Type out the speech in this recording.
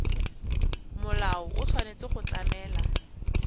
molao o tshwanetse go tlamela